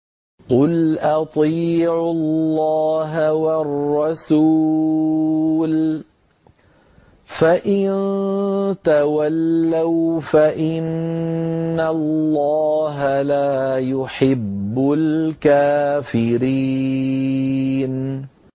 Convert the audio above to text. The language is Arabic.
قُلْ أَطِيعُوا اللَّهَ وَالرَّسُولَ ۖ فَإِن تَوَلَّوْا فَإِنَّ اللَّهَ لَا يُحِبُّ الْكَافِرِينَ